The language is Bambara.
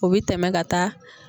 O bɛ tɛmɛn ka taa